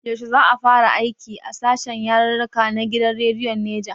Yaushe za ka fara aiki a sashen yarirrika na gidan rediyon Neja?